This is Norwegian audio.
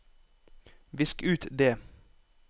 visk ut det